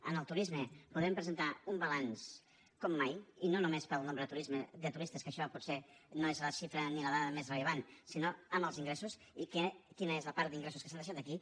en el turisme podem presentar un balanç com mai i no només pel nombre de turistes que això potser no és la xifra ni la dada més rellevant sinó amb els ingressos i quina és la part d’ingressos que s’han deixat aquí